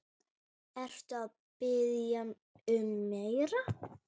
Ertu að biðja um meira.